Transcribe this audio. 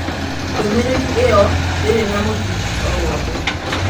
Ndũmĩrĩri ĩyo ndĩrĩ na mũthingi o wothe.